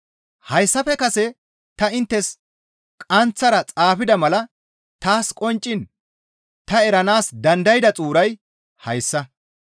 Hayssafe kase ta inttes qaanththara xaafida mala taas qoncciin ta eranaas dandayda xuuray hayssa.